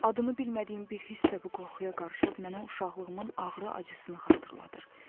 Adını bilmədiyim bir hiss də bu qorxuya qarışıb mənə uşaqlığımın ağrı acısını xatırladır.